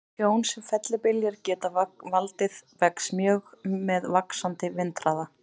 Tjón sem fellibyljir geta valdið vex mjög með vaxandi vindhraða.